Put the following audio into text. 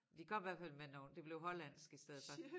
De kom hvert fald med nogle det blev hollandsk i stedet for